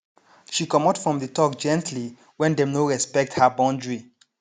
she comot from the talk gently when dem no respect her boundary